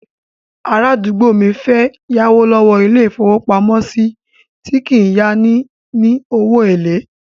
Arádúgbò mi fẹ́ yáwó lọ́wọ́ ilé-ìfowópamọ́sí tí kìí yá ni ní owó èlé